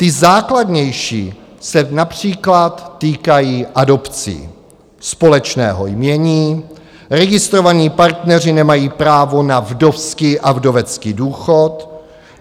Ty základnější se například týkají adopcí, společného jmění, registrovaní partneři nemají právo na vdovský a vdovecký důchod.